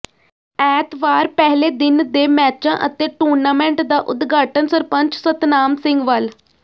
ਐਤਵਾਰ ਪਹਿਲੇ ਦਿਨ ਦੇ ਮੈਚਾਂ ਅਤੇ ਟੂਰਨਾਮੈਂਟ ਦਾ ਉਦਘਾਟਨ ਸਰਪੰਚ ਸਤਨਾਮ ਸਿੰਘ ਵਲ